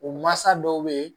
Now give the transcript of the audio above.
O mansa dɔw bɛ yen